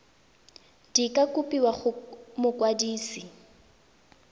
di ka kopiwa go mokwadise